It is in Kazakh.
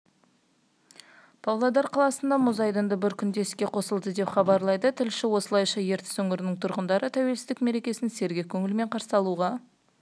павлодар қаласында мұз айдыны бір күнде іске қосылды деп хабарлайды тілшісі осылайша ертіс өңірінің тұрғындары тәуелсіздік мерекесін сергек көңілмен қарсы алуға